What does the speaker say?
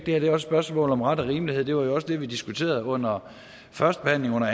er et spørgsmål om ret og rimelighed det var også det vi diskuterede under førstebehandlingen og